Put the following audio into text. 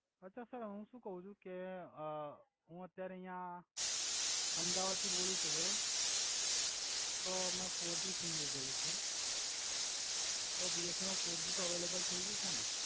અછા સર હુ સુ કવ છુ કે અ હુ અત્યારે અય્યા અમ્દાવાદ થી બોલુ છુ બરોબર તો મે ફોરજી સિમ લિધેલુ છે તો બએન મા ફોરજી તો અવૈલેબલ થઈ ગયુ હસે ને